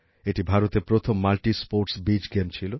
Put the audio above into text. এটি ভারতের প্রথম মাল্টিস্পোর্টস বিচ গেম ছিল